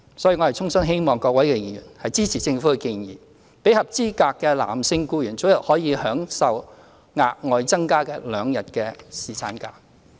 所以，我衷心希望各位議員支持政府的建議，讓合資格的男性僱員早日可以享有額外新增兩天的侍產假。